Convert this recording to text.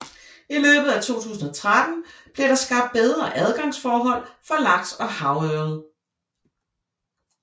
I løbet af 2013 bliver der skabt bedre adgangsforhold for laks og havørred